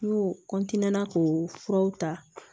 N y'o na k'o furaw ta